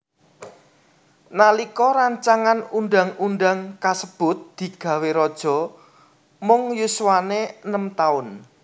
Nalika rancangan undang undang kasebut digawé raja mung yuswané enem taun